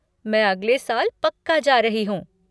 मैं अगले साल पक्का जा रही हूँ।